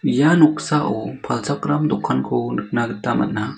ia noksao palchakram dokanko nikna gita man·a.